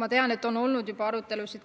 Ma tean, et on olnud juba arutelusid